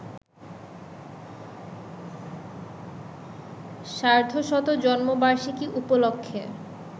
সার্ধশত জন্মবার্ষিকী উপলক্ষে